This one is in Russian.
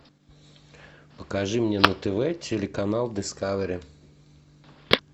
покажи мне на тв телеканал дискавери